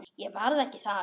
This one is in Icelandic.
Ég verð ekki þar.